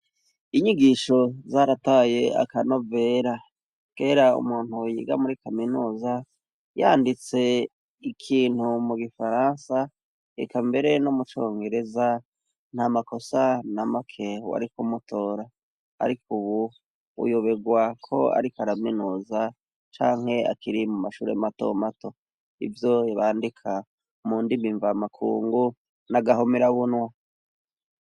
Inyigisho zarataye akano vera kera umuntu wunyiga muri kaminusa yanditse ikintu mu gifaransa eka mbere no mucongereza nta makosa na make wari kumutora, ariko, ubu uyoberwa ko ari ko araminuza anke akiri mu mashure mato mato ivyo ybandika mu ndimi imva makungu n'agahomera bunwa.